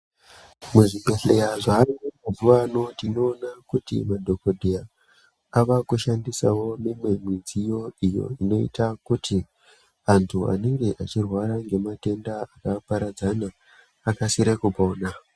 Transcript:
Mu zvibhedhleya zvayo mazuva ano tino ona kuti madhokodheya ava kushandisawo mimwe midziyo iyo inoita kuti antu anenge achirwara nge matenda aka paradzana akasire kupona.